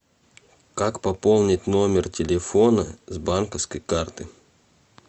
как пополнить номер телефона с банковской карты